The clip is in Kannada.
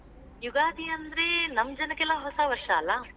ಯುಗಾದಿ ಅಂದ್ರೆ, ನಮ್ ಜನಕ್ಕೆಲ್ಲಾ ಹೊಸಾ ವರ್ಷಾ ಅಲ್ಲಾ.